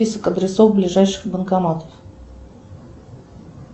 список адресов ближайших банкоматов